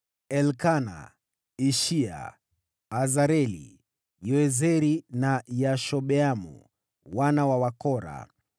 Elikana, Ishia, Azareli, Yoezeri na Yashobeamu, wana wa Kora;